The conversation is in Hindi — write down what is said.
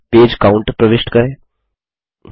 फुटर में पेज काउंट प्रविष्ट करें